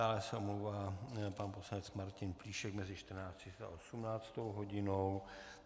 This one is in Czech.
Dále se omlouvá pan poslanec Martin Plíšek mezi 14.30 a 18. hodinou.